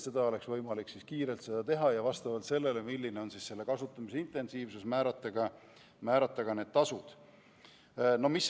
Siis oleks võimalik seda kiirelt teha ja vastavalt sellele, milline on kasutamise intensiivsus, määrata ka tasud.